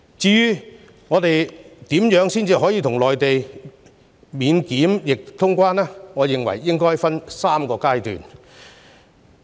至於我們如何與內地達致免檢疫通關，我認為可分3個階段。